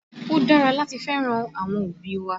Ó dára láti fẹ́ràn àwọn òbí wa